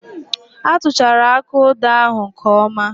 A tuchara aka odo ahụ nke oma